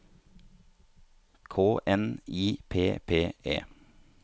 K N I P P E